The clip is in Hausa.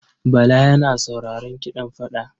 Bala yana sauraron kiɗan fada.